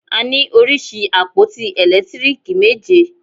A ní oríṣi àpótí ẹ̀lẹ́tíríìkì méje.